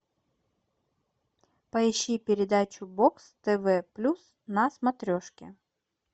поищи передачу бокс тв плюс на смотрешке